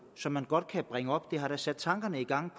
som man godt kan bringe op det har da sat tankerne i gang